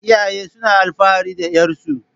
Iyaye suna alfahari da 'yarsu.